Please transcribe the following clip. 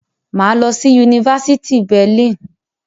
Mà á lọ sí yunifásítì Berlin.